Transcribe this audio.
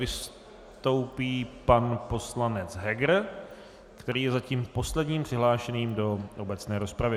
Vystoupí pan poslanec Heger, který je zatím posledním přihlášeným do obecné rozpravy.